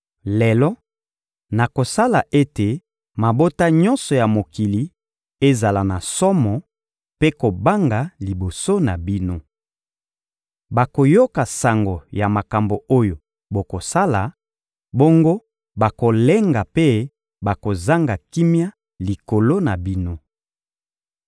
Lelo, nakosala ete mabota nyonso ya mokili ezala na somo mpe kobanga liboso na bino. Bakoyoka sango ya makambo oyo bokosala, bongo bakolenga mpe bakozanga kimia likolo na bino.»